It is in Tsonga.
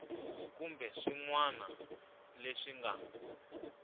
kumbe swin wana leswi nga